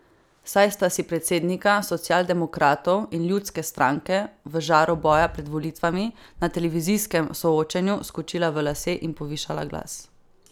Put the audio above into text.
Saj sta si predsednika socialdemokratov in ljudske stranke v žaru boja pred volitvami na televizijskem soočenju skočila v lase in povišala glas.